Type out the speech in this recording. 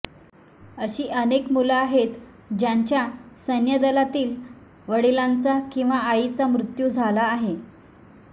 अशी अनेक मुलं आहेत ज्यांच्या सैन्य दलातील वडीलांचा किंवा आईचा मृत्यू झाला आहे